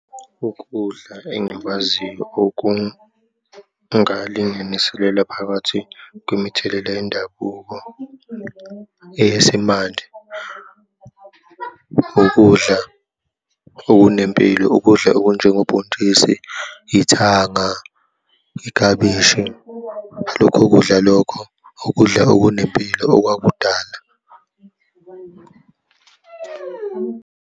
Ukudla engikwaziyo okungalinganiselelwe phakathi kwemithelela yendabuko eyesimanje, ukudla okunempilo, ukudla okunjengobhontshisi, ithanga, iklabishi. Lokho kudla lokho ukudla okunempilo okwakudala.